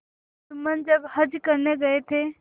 जुम्मन जब हज करने गये थे